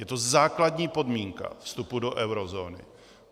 Je to základní podmínka vstupu do eurozóny.